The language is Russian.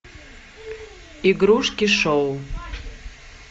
игрушки шоу